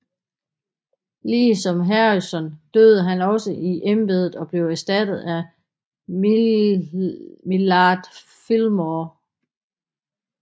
Ligesom Harrison døde han også han i embedet og blev erstattet af Millard Fillmore